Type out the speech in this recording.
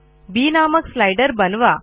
बी नामक स्लाइडर बनवा